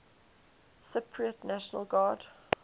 cypriot national guard